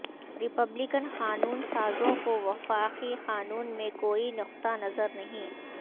Republican قانون سازوں کو وفاقی قانون میں کوئی نقطہ نظر نہیں